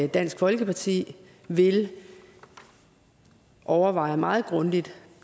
dansk folkeparti vil overveje det meget grundigt